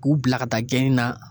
K'u bila ka taa gɛni na